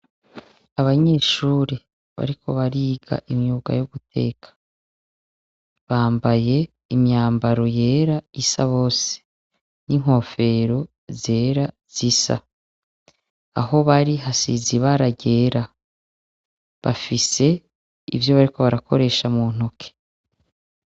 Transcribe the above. Abanyeshure bariko bariga imyuga yo guteka, bambaye imyambaro yera isa bose n'inkofero zera zisa, aho bari hasizi Ibaragera bafise ivyo bariko barakoresha mu ntoke.